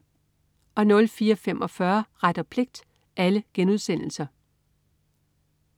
04.45 Ret og pligt*